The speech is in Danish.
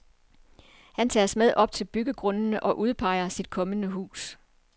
Han tager os med op til byggegrundene og udpeger sit kommende hus.